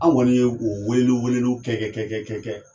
Anw kɔni ye o weleli weleliw kɛ kɛ kɛ